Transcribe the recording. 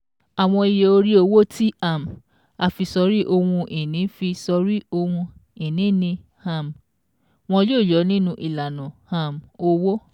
Àwọn iye orí owó tí um a fi sọrí ohun-ìní fi sọrí ohun-ìní ni um wọn yóò yọ nínú ìlànà um owó.